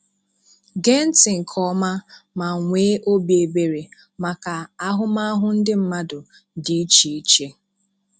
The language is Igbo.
Gee ntị nke ọma ma nwee obi ebere maka ahụmahụ ndị mmadụ dị iche ichè